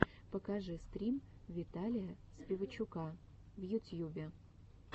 покажи стрим виталия спивачука в ютьюбе